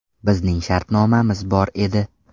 Bizning shartnomamiz bor edi.